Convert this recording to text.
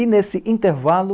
E, nesse intervalo,